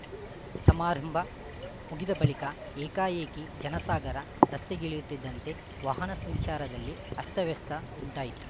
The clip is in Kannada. ಸಮಾರಂಭ ಮುಗಿದ ಬಳಿಕ ಏಕಾಏಕಿ ಜನಸಾಗರ ರಸ್ತೆಗಿಳಿಯುತ್ತಿದ್ದಂತೆ ವಾಹನ ಸಂಚಾರದಲ್ಲಿ ಅಸ್ತವ್ಯಸ್ತ ಉಂಟಾಯಿತು